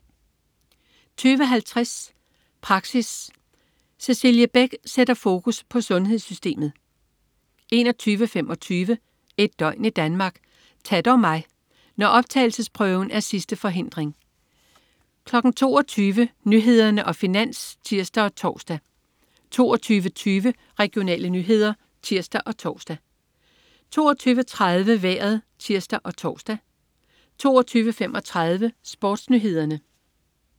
20.50 Praxis. Cecilie Beck sætter fokus på sundhedssystemet 21.25 Et døgn i Danmark: Ta' dog mig! Når optagelsesprøven er sidste forhindring 22.00 Nyhederne og Finans (tirs og tors) 22.20 Regionale nyheder (tirs og tors) 22.30 Vejret (tirs og tors) 22.35 SportsNyhederne